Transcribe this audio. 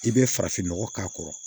I bɛ farafin nɔgɔ k'a kɔrɔ